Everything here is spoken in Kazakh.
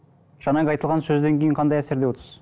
жаңағы айтылған сөзден кейін қандай әсерде отырсыз